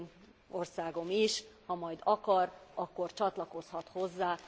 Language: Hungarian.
az én országom is, ha majd akar, akkor csatlakozhat hozzá.